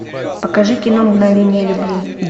покажи кино мгновение любви